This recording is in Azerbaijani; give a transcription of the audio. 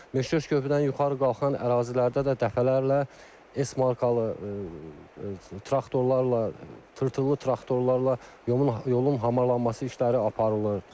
Meşleş körpüdən yuxarı qalxan ərazilərdə də dəfələrlə S markalı traktorlarla, tırtıllı traktorlarla yolun hamarlanması işləri aparılır.